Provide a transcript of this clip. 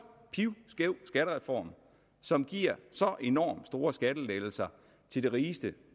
pivskæv skattereform som giver så enormt store skattelettelser til de rigeste